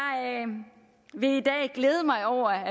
vil i dag glæde mig over